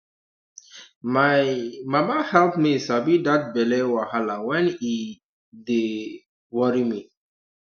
my um mama help me sabi that belly wahala when e um dey um worry me